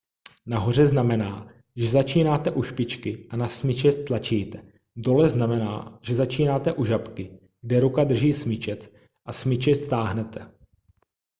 nahoře znamená že začínáte u špičky a na smyčec tlačíte dole znamená že začínáte u žabky kde ruka drží smyčec a smyčec táhnete